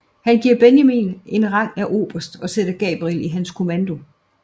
Han giver Benjamin en rang af oberst og sætter Gabriel i hans kommando